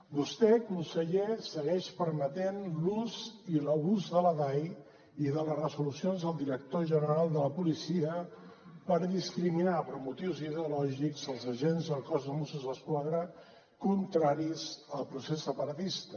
vostè conseller segueix permetent l’ús i l’abús de la dai i de les resolucions del director general de la policia per discriminar per motius ideològics els agents del cos de mossos d’esquadra contraris al procés separatista